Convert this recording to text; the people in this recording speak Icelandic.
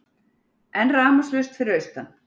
Enn rafmagnslaust fyrir austan